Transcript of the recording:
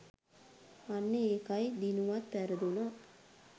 අන්න ඒකයි දිනුවත් පැරදුනත්